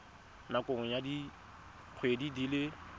nakong ya dikgwedi di le